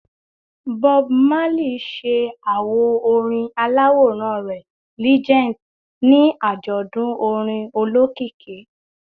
Bob Marley ṣe awo orin alaworan rẹ “Legend” ni ajọdun orin olokiki